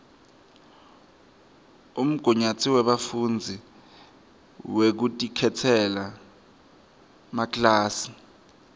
umgunyatsi webafundzi wekutikhetsela makilasi